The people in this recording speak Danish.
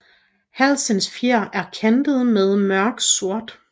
Halsens fjer er kantet med mørk sort